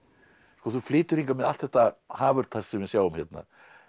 sko þú flytur hingað með allt þetta hafurtask sem við sjáum hérna